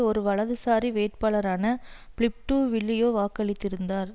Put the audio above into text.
ஒரு வலதுசாரி வேட்பாளரான பிலிப் டு வில்லியோ வாக்களித்திருந்தனர்